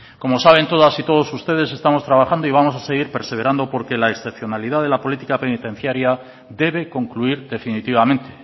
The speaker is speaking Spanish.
como saben todas y todos ustedes estamos trabajando y vamos a seguir perseverando porque la excepcionalidad de la política penitenciaria debe concluir definitivamente